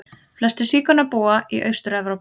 Flestir sígaunar búa í Austur-Evrópu.